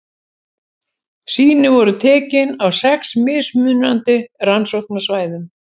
Sýni voru tekin á sex mismunandi rannsóknarsvæðum.